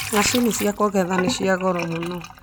Macini cia kũgetha nĩ cia goro mũno